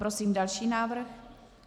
Prosím další návrh.